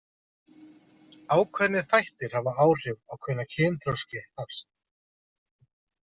Ákveðnir þættir hafa áhrif á hvenær kynþroski hefst.